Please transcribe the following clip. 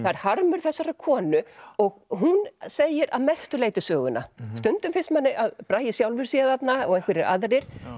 er harmur þessarar konu og hún segir að mestu leyti söguna stundum finnst manni að Bragi sjálfur sé þarna og einhverjir aðrir